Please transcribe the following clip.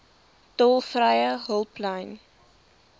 tolvrye hulplyn